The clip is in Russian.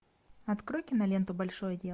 открой киноленту большое дело